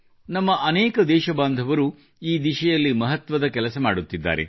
ನಮ್ಮ ಅನೇಕ ದೇಶ ಬಾಂಧವರು ಈ ದಿಸೆಯಲ್ಲಿ ಮಹತ್ವದ ಕೆಲಸ ಮಾಡುತ್ತಿದ್ದಾರೆ